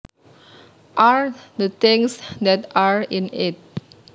are the things that are in it